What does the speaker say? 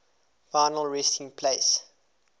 final resting place